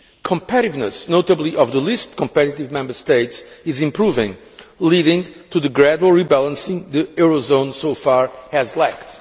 Competitiveness, notably of the least competitive Member States, is improving, leading to the gradual rebalancing the Eurozone so far has lacked.